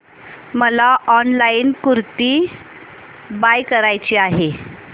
मला online kurti buy करायची आहे